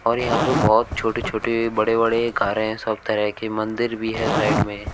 और यहां पर बहोत छोटे-छोटे बड़े-बड़े कारे हैं सब तरह के मंदिर भी है साइड में --